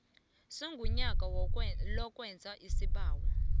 segunya lokwenza isibawo